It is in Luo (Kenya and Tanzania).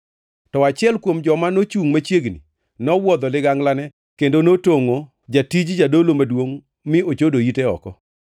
To achiel kuom joma nochungʼ machiegni nowuodho liganglane kendo notongʼo jatij jadolo maduongʼ mi ochodo ite oko.